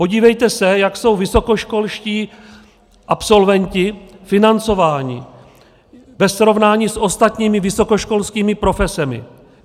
Podívejte se, jak jsou vysokoškolští absolventi financováni ve srovnání s ostatními vysokoškolskými profesemi.